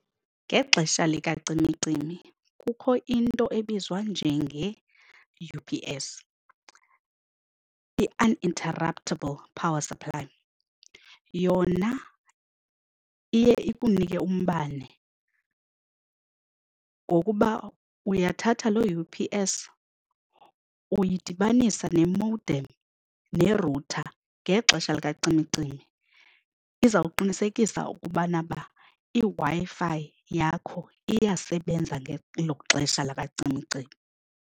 Ngexesha likacimicimi kukho into ebizwa njenge-U_P_S i-uninterruptable power supply. Yona iye ikunike umbane ngokuba uyathatha lo U_P_S uyidibanisa ne-modem ne-router ngexesha likacimicimi izawuqinisekisa ukubana uba iWi-Fi yakho iyasebenza ngelo xesha lakacimicimi.